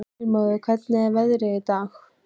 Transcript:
Heilmóður, hvernig er veðrið í dag?